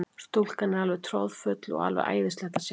Stúkan er alveg troðfull og alveg æðislegt að sjá.